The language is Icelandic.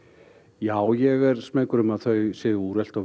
já ég er smeykur um að þau séu úrelt og